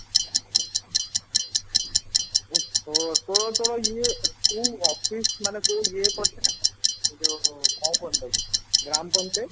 ଓହୋ ତୋ ତୋର ପା ଇଏ କୋଉ office ମାନେ କୋଉ ଇଏ କରିଚୁ ନାଁ ଯୋଉ କଣ କହନ୍ତି ତାକୁ ଗ୍ରାମ ପଞ୍ଚାୟତ